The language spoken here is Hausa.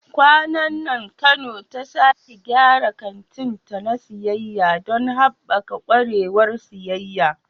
Kwanan nan Kano ta sake gyara kantinta na siyayya don haɓaka ƙwarewar siyayya.